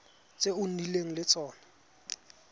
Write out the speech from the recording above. tse o nnileng le tsone